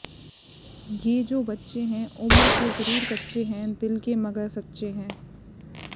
ये जो बच्चे हैं उम्र के जरूर कच्चे हैं दिल के मगर सच्चे हैं